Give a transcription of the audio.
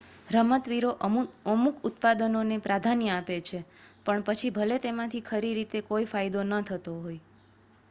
રમતવીરો અમુક ઉત્પાદોને પ્રાધાન્ય આપે છે પછી ભલે તેમાંથી ખરી રીતે કોઈ ફાયદો ન થતો હોય